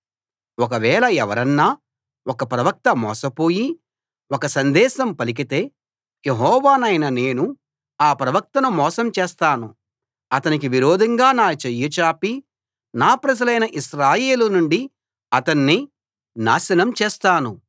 ఒకవేళ ఎవరన్నా ఒక ప్రవక్త మోసపోయి ఒక సందేశం పలికితే యెహోవానైన నేను ఆ ప్రవక్తను మోసం చేస్తాను అతనికి విరోధంగా నా చెయ్యి చాపి నా ప్రజలైన ఇశ్రాయేలు నుండి అతణ్ణి నాశనం చేస్తాను